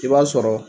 I b'a sɔrɔ